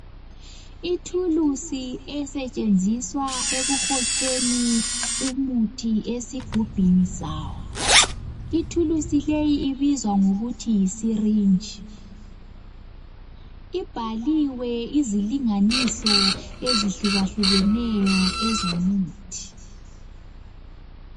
Ithulusi esetshenziswa ekuhotsheni umuthi esigubhini sawo. Ithulusi leyi ibizwa ngokuthi yisirinji. Ibhaliwe izilinganiso ezihlukahlukeneyo ezomuthi.